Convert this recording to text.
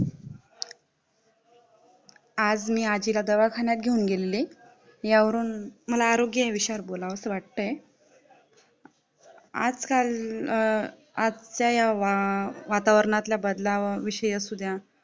आज मी आजीला दवाखान्यात घेऊन गेलेली यावर मला आरोग्य विषयावर बोलावसं वाटतं आज-काल आजच्या या वातावरणातल्या बदलाव विषयावर असुद्या